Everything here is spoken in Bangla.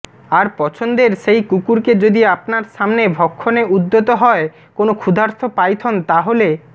আর পছন্দের সেই কুকুরকে যদি আপনার সামনে ভক্ষণে উদ্যত হয় কোনো ক্ষুধার্ত পাইথন তাহলে